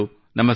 ನಮಸ್ಕಾರ